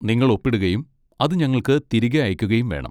നിങ്ങൾ ഒപ്പിടുകയും അത് ഞങ്ങൾക്ക് തിരികെ അയയ്ക്കുകയും വേണം.